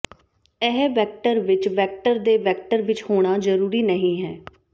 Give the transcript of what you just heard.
ਇਹ ਵੈਕਟਰ ਵਿਚ ਵੈਕਟਰ ਦੇ ਵੈਕਟਰ ਵਿਚ ਹੋਣਾ ਜ਼ਰੂਰੀ ਨਹੀਂ ਹੈ